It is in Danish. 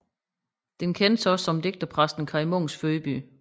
Den kendes også som digterpræsten Kaj Munks fødeby